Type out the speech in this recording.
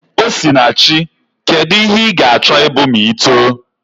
Osinachi, kedu ihe ị ga-achọ ịbụ ma i too?